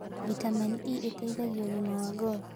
Vĩtamenĩ E ĩteĩthagĩa ũgima wa ngothĩ